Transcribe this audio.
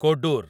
Kodur